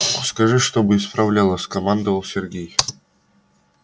скажи чтобы исправляла скомандовал сергей